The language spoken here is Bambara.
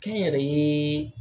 Kɛ n yɛrɛ ye